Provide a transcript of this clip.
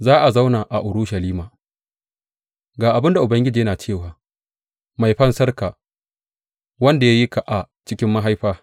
Za a zauna a Urushalima Ga abin da Ubangiji yana cewa, Mai Fansarka, wanda ya yi ka a cikin mahaifa.